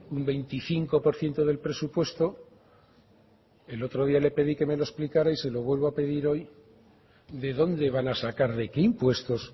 un veinticinco por ciento del presupuesto el otro día le pedí que me lo explicara y se lo vuelvo a pedir hoy de dónde van a sacar de qué impuestos